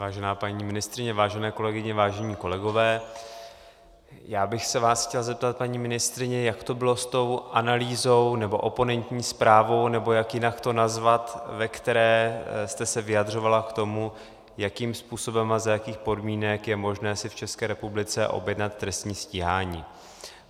Vážená paní ministryně, vážené kolegyně, vážení kolegové, já bych se vás chtěl zeptat, paní ministryně, jak to bylo s tou analýzou, nebo oponentní zprávou, nebo jak jinak to nazvat, ve které jste se vyjadřovala k tomu, jakým způsobem a za jakých podmínek je možné si v České republice objednat trestní stíhání.